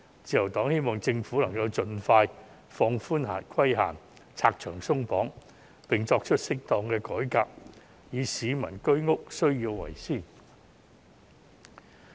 自由黨希望政府能夠盡快放寬規限，拆牆鬆綁，並作出適當改革，以市民住屋需要為先。